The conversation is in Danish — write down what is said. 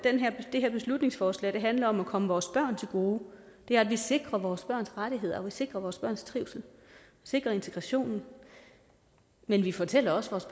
det her beslutningsforslag handler om at komme vores børn til gode at vi sikrer vores børns rettigheder og at vi sikrer vores børns trivsel sikrer integrationen men vi fortæller også vores